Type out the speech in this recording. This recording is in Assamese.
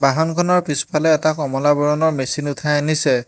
বাহনখনৰ পিছফালে এটা কমলা বৰণৰ মেচিন উঠাই আনিছে।